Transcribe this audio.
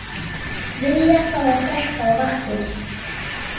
Vilja fá að drekka á vaktinni